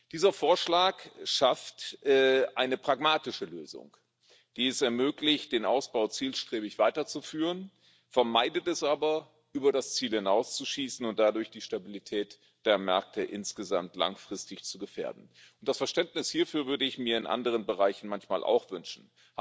Dieser Vorschlag schafft eine pragmatische Lösung, die es ermöglicht, den Ausbau zielstrebig weiterzuführen, vermeidet es aber, über das Ziel hinauszuschießen und dadurch die Stabilität der Märkte insgesamt langfristig zu gefährden. Das Verständnis hierfür würde ich mir in anderen Bereichen manchmal auch wünschen.